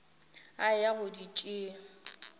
a eya go di tšea